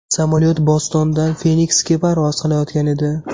Samolyot Bostondan Feniksga parvoz qilayotgan edi.